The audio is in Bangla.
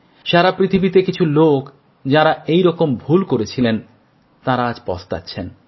সারা পৃথিবীতে কিছু লোক যাঁরা এই রকম ভুল করেছিলেন তাঁরা আজ পস্তাচ্ছেন